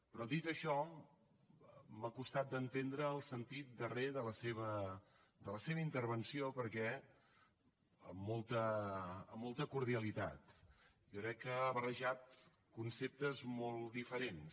però dit això m’ha costat d’entendre el sentit darrer de la seva intervenció perquè amb molta cordialitat jo crec que ha barrejat conceptes molt diferents